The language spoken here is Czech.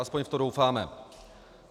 Alespoň v to doufáme.